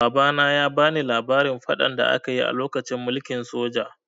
Babana ya bani labarin faɗan da aka yi a lokacin mulkin soja.